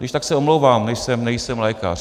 Když tak se omlouvám, nejsem lékař.